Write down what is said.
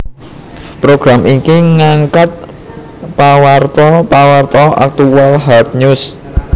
Program iki ngangkat pawarta pawarta aktual hard news